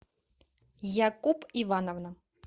якуб ивановна